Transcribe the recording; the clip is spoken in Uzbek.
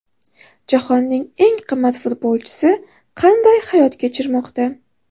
Jahonning eng qimmat futbolchisi qanday hayot kechirmoqda?